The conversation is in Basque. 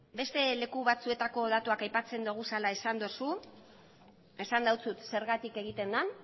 beste leku batzuetako datuak aipatzen ditugula esan duzu esan dizut zergatik egiten den